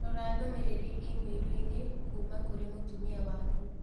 Rora ndũmĩrĩri i-mīrū inĩ kuuma kũrĩ mũtũmia wakũ.